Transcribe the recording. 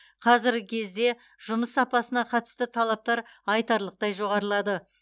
қазіргі кезде жұмыс сапасына қатысты талаптар айтарлықтай жоғарылады